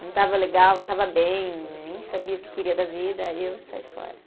Não estava legal, não estava bem, nem sabia o que queria da vida, aí eu saí fora.